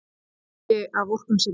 Það var ekki af vorkunnsemi.